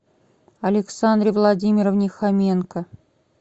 александре владимировне хоменко